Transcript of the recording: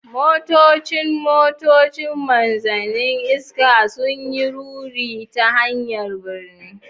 Motocin motoci, Manzannin iska, sun yi ruri ta hanyar birni.